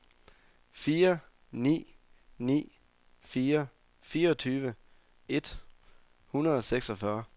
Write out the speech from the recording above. fire ni ni fire fireogtyve et hundrede og seksogfyrre